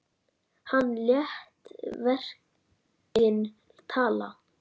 Hann lét verkin tala.